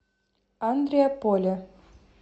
андреаполе